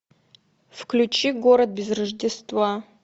включи город без рождества